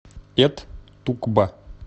эт тукба